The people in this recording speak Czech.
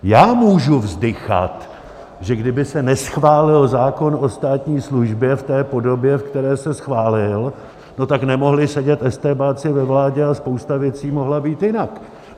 Já můžu vzdychat, že kdyby se neschválil zákon o státní službě v té podobě, ve které se schválil, no tak nemohli sedět estébáci ve vládě a spousta věcí mohla být jinak.